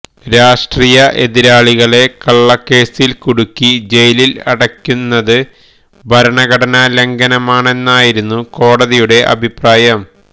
രാഷ്ട്രീയ എതിരാളികളെ കള്ളക്കേസില് കുടുക്കി ജയിലില് അടയ്ക്കുന്നത് ഭരണഘടനാ ലംഘനമാണെന്നായിരുന്നു കോടതിയുടെ അഭിപ്രായം